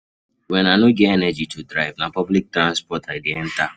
Wen I no get energy to drive, na public transport I dey enter.